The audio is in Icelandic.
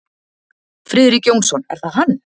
Friðrik Jónsson, er það hann?